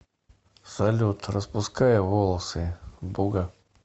салют распуская волосы буга